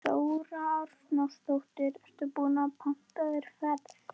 Þóra Arnórsdóttir: Ertu búinn að panta þér ferð?